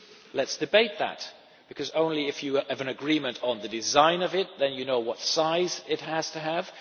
Let us debate that, because only if you have an agreement on the design of it do you know what size it has to have.